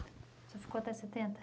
O senhor ficou até setenta?